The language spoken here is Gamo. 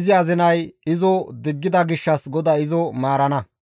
izi azinay izo diggida gishshas GODAY izo maarana.